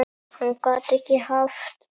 Hann gat ekki haft